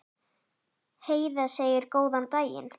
Heiða segir góðan daginn!